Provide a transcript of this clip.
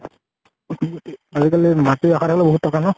উম্গতি আজি কালি মাটি ৰাখা থাকিলে বহুত ট্কা ন?